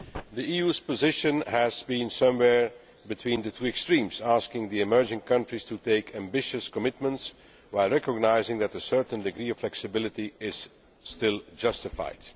The EU's position has been somewhere between the two extremes, asking the emerging countries to make ambitious commitments, while recognising that a certain degree of flexibility is still justified.